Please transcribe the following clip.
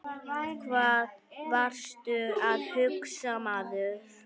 Hvað varstu að hugsa maður?